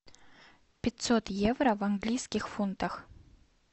пятьсот евро в английских фунтах